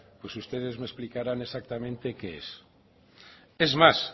pues ustedes me explicaran exactamente qué es es más